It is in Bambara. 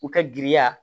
U ka giriya